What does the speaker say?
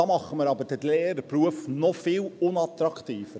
Dann machen wir aber den Lehrerberuf noch viel unattraktiver.